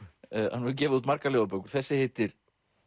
hann hefur gefið út margar ljóðabækur þessi heitir